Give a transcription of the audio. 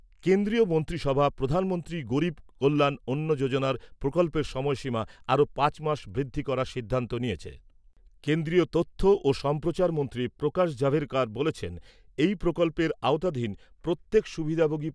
কেন্দ্রীয় মন্ত্রিসভা প্রধানমন্ত্রী গরীব কল্যাণ অন্ন যোজনার প্রকল্পের সময়সীমা আরও পাঁচ মাস বৃদ্ধি করার সিদ্ধান্ত নিয়েছে। কেন্দ্রীয় তথ্য ও সম্প্রচারমন্ত্রী প্রকাশ জাভড়েকর বলেছেন, এই প্রকল্পের আওতাধীন প্রত্যেক সুবিধাভোগী